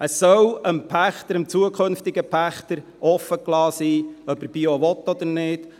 Es soll dem zukünftigen Pächter offenstehen, ob er Bio will oder nicht.